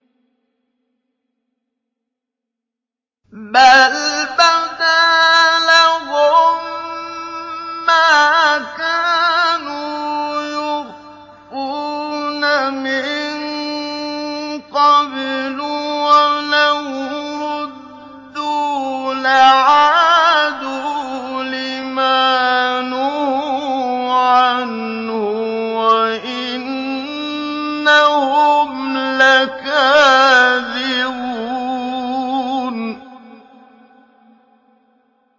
بَلْ بَدَا لَهُم مَّا كَانُوا يُخْفُونَ مِن قَبْلُ ۖ وَلَوْ رُدُّوا لَعَادُوا لِمَا نُهُوا عَنْهُ وَإِنَّهُمْ لَكَاذِبُونَ